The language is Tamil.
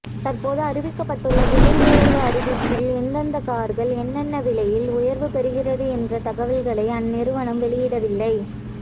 தற்போது அறிவிக்கப்பட்டுள்ள விலை உயர்வு அறிவிப்பில் எந்தெந்த கார்கள் என்னென்ன விலை உயர்வு பெறுகிறது என்ற தவல்களை அந்நிறுவனம் வெளியிடவில்லை